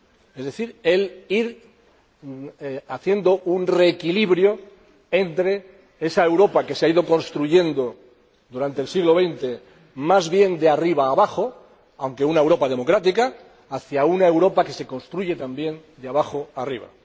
Es decir, ir haciendo un reequilibrio entre esa Europa que se ha ido construyendo durante el siglo XX más bien de arriba abajo —aunque una Europa democrática— y una Europa que se construye también de abajo arriba.